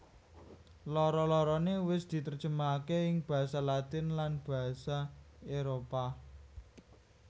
Loro lorone wis diterjemahake ing basa Latin lan basa Éropah